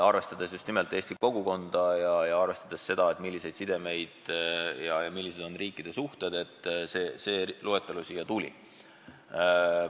Arvestades just nimelt eesti kogukonda ja arvestades seda, millised on sidemed ja millised on riikide suhted, see loetelu sündis.